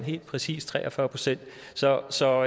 helt præcis tre og fyrre procent så så